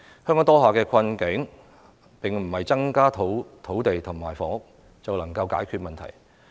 香港當下的困境，並不是增加土地或房屋便能夠解決的。